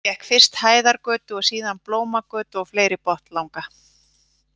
Gekk fyrst Hæðargötu og síðan Blómagötu og fleiri botnlanga.